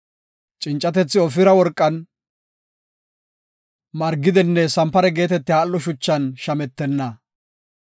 Cincatethi Ofira worqan, margidenne sanpare geetetiya al7o shuchan shametenna.